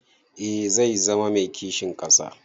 Eh zai zama mai kishin ƙasa.